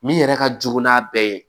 Min yɛrɛ ka jugu n'a bɛɛ ye